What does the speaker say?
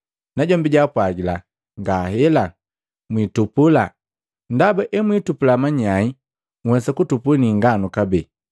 Najombi jaapwagila, ‘Ngaela, mwitupula ndaba emwiitupula manyai nhwesa kutupu ni inganu kabee.